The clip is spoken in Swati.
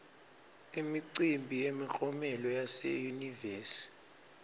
imicimbi yemiklomelo yase yunivesi